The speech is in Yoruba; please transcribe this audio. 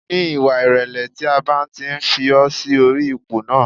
Ní ìwà ìrẹ̀lẹ̀ tí a bá ti fi ọ́ sí orí ipò náà